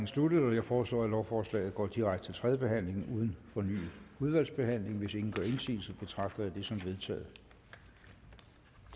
sluttet jeg foreslår at lovforslaget går direkte til tredje behandling uden fornyet udvalgsbehandling hvis ingen gør indsigelse betragter jeg som vedtaget